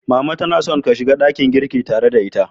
Mama tana son ka shiga dakin girki tare da ita.